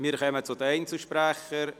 Wir kommen zu den Einzelsprechern.